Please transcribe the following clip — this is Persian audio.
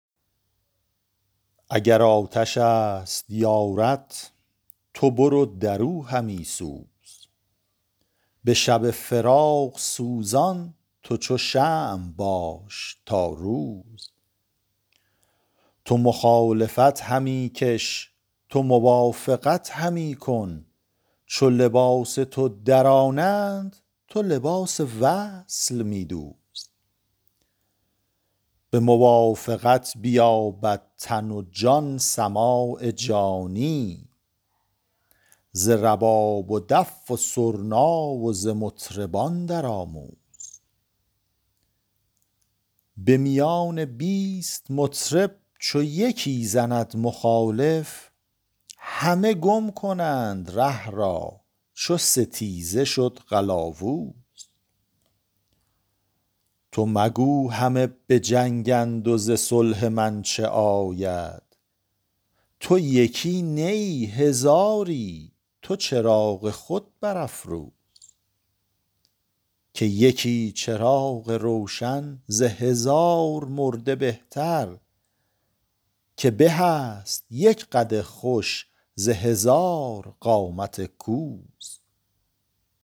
اگر آتش است یارت تو برو در او همی سوز به شب فراق سوزان تو چو شمع باش تا روز تو مخالفت همی کش تو موافقت همی کن چو لباس تو درانند تو لباس وصل می دوز به موافقت بیابد تن و جان سماع جانی ز رباب و دف و سرنا و ز مطربان درآموز به میان بیست مطرب چو یکی زند مخالف همه گم کنند ره را چو ستیزه شد قلاوز تو مگو همه به جنگند و ز صلح من چه آید تو یکی نه ای هزاری تو چراغ خود برافروز که یکی چراغ روشن ز هزار مرده بهتر که به است یک قد خوش ز هزار قامت کوز